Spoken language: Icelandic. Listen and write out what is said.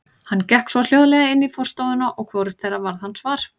Hann gekk svo hljóðlega inn í forstofuna að hvorugt þeirra varð hans var.